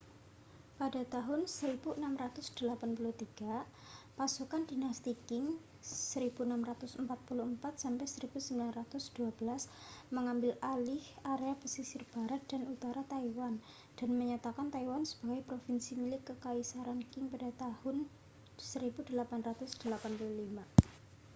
pada tahun 1683 pasukan dinasti qing 1644-1912 mengambil alih area pesisir barat dan utara taiwan dan menyatakan taiwan sebagai provinsi milik kekaisaran qing pada tahun 1885